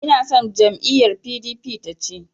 Inason jam'iyyar PDP ta ci.